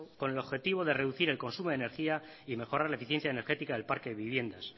con el objetivo de reducir el consumo de energía y mejorar la eficiencia energética del parque de viviendas